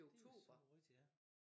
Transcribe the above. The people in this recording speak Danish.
Det sørme rigtig ja